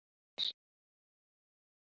Aftur á móti vorkenna þér allir.